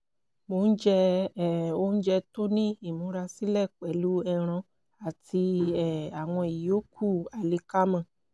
mo ń jẹ um oúnjẹ tó ní ìmúrasílẹ̀ pẹ̀lú ẹran àti um àwọn ìyókù àlìkámà